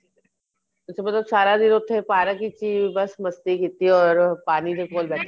ਅੱਛਾ ਮਤਲਬ ਸਾਰਾ ਦਿਨ ਉੱਥੇ park ਵਿੱਚ ਈ ਬੱਸ ਮਸਤੀ ਕੀਤੀ or ਪਾਣੀ ਦੇ ਕੋਲ ਬੈਠੇ